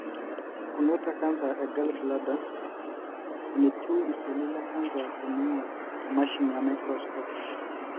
pukunoto e canser e gallbladder (enetieu iseli lecanser teningor te mashini e microscope.)